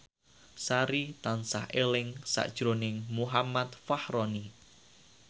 Sari tansah eling sakjroning Muhammad Fachroni